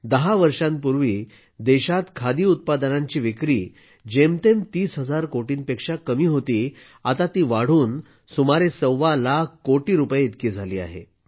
दहा वर्षांपूर्वी देशात खादी उत्पादनांची विक्री ३० हजार कोटींपेक्षा कमी होती आता ती वाढून सुमारे सव्वा लाख कोटी रुपये इतकी झाली आहे